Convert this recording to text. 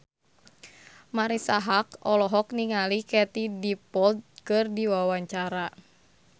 Marisa Haque olohok ningali Katie Dippold keur diwawancara